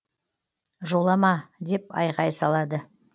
жолама деп айғай салады